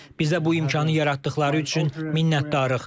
Bizə bu imkanı yaratdıqları üçün minnətdarıq.